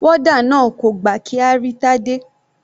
Warder náà kò gbà kí a rí Tade.